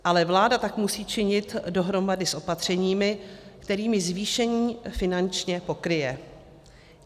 Ale vláda tak musí činit dohromady s opatřeními, kterými zvýšení finančně pokryje.